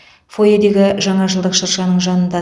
фойедегі жаңа жылдық шыршаның жанында